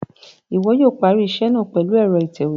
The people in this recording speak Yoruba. Iwọ yóò parí iṣẹ náà pèlú ẹrọ itẹwe